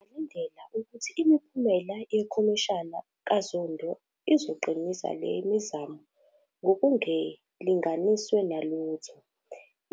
Singalindela ukuthi imiphumela yeKhomishana kaZondo izoqinisa le mizamo ngokungelinganiswe nalutho.